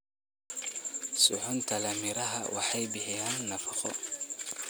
Suxuunta leh miraha waxay bixiyaan nafaqo.